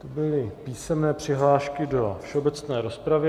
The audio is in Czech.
To byly písemné přihlášky do všeobecné rozpravy.